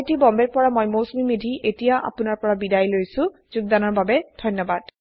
I I T Bombay ৰ পৰা মই মৌচুমী মেধী এতিয়া আপুনাৰ পৰা বিদায় লৈছো যোগদানৰ বাবে ধন্যবাদ